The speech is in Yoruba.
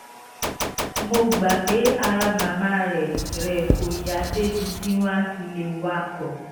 mo gbà pé ara màmá rẹ rẹ kò yá débi tí wọ́n fi lè wakọ̀